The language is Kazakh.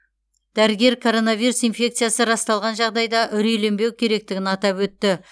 дәрігер коронавирус инфекциясы расталған жағдайда үрейленбеу керектігін атап өтті